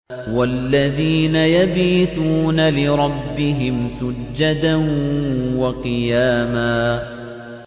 وَالَّذِينَ يَبِيتُونَ لِرَبِّهِمْ سُجَّدًا وَقِيَامًا